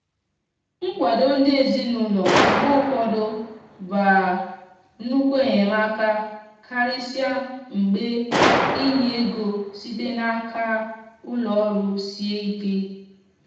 nkwado ndi ezinaụlọ mgbe ụfọdụ ba nnukwu enyemaka karịsịa mgbe inye ego site n'aka ụlọ ọrụ sie ike.